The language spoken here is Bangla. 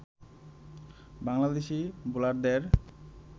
বাংলাদেশী বোলারদের